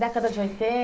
Década de